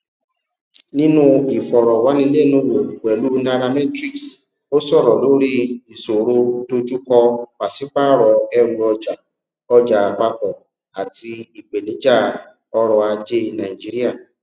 nínú ìfọrọwánilẹnuwò pẹlú nairametrics ó sọrọ lórí ìṣòro dojúkọ pàṣípààrọ ẹrù ọjà ọjà àpapọ àti ìpèníjà ọrọajé nàìjíríà